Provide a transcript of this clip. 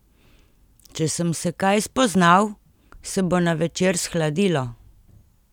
Če sem se kaj spoznal, se bo na večer shladilo.